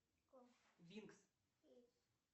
винкс